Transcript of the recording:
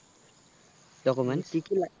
document কি কি লা